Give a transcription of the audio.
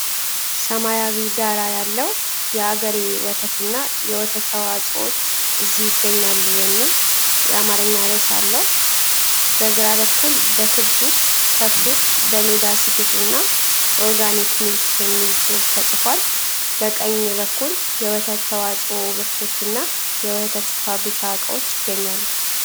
ሰማያዊ ዳራ ያለው "የአገሬ ወተትና የወተት ተዋጾዎች እዚህ ይገኛሉ" የሚል የአማርኛ ርዕስ አለው። በግራ በኩል በክብ ውስጥ ከብቶች በሜዳ ሲግጡ እና "Organic Milk" የሚል ጽሑፍ ተጽፏል። በቀኝ በኩል የወተት ተዋጽኦ ምርቶችና የወተት ፋብሪካ ዕቃዎች ይገኛሉ፡፡